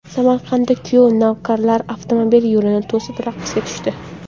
Samarqandda kuyov navkarlar avtomobil yo‘lini to‘sib raqsga tushdi.